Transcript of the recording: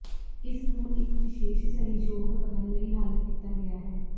ਇਸ ਨੂੰ ਇੱਕ ਵਿਸ਼ੇਸ਼ ਸਹਿਯੋਗ ਕਰਨ ਲਈ ਹੱਲ ਕੀਤਾ ਗਿਆ ਹੈ